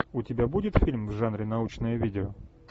у тебя будет фильм в жанре научное видео